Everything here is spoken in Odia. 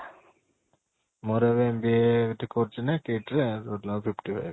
ମୋର ଏବେ MBA କରୁଛି ନା ଏଠି KIIT ରେ